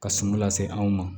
Ka sun lase anw ma